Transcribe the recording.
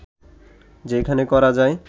যেখানে করা যায়